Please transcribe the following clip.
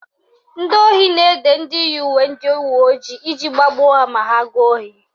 Ndị ohi na-ede ndị yi uwe ndị uweojii iji gbagbuo ha ma ha gaa ohi